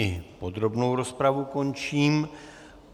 I podrobnou rozpravu končím.